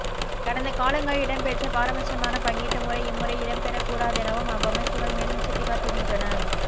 கடந்த காலங்களில் இடம்பெற்ற பாரபட்சமான பங்கீட்டு முறை இம்முறை இடம்பெறக் கூடாதெனவும் அவ்வமைப்புக்கள் மேலும் சுட்டிக்காட்டுகின்றன